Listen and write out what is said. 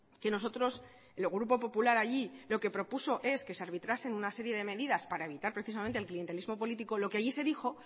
que nosotros el grupo popular allí lo que propuso es que se arbitrasen una serie de medidas para evitar precisamente el clientelismo político lo que allí se dijo